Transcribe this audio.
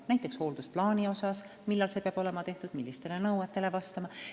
Näiteks, millal peab olema tehtud hooldusplaan, millistele nõuetele see peab vastama jne.